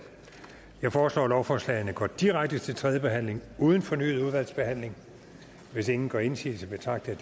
jeg foreslår at lovforslagene går direkte til tredje behandling uden fornyet udvalgsbehandling hvis ingen gør indsigelse betragter